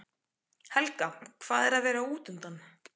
Helga: Hvað er að vera útundan?